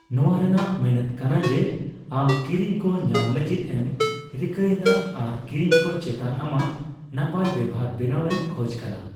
ᱱᱚᱣᱟ ᱨᱮᱱᱟᱜ ᱢᱮᱱᱮᱫ ᱠᱟᱱᱟ ᱡᱮ, ᱟᱢ ᱠᱤᱨᱤᱧ ᱠᱚ ᱧᱟᱢ ᱞᱟᱹᱜᱤᱫ ᱮᱢ ᱨᱤᱠᱟᱹᱭᱮᱫᱟ ᱟᱨ ᱠᱤᱨᱤᱧ ᱠᱚ ᱪᱮᱛᱟᱱ ᱟᱢᱟᱜ ᱱᱟᱯᱟᱭ ᱵᱮᱣᱦᱟᱨ ᱵᱮᱱᱟᱣ ᱮᱢ ᱠᱷᱚᱡ ᱠᱟᱱᱟ ᱾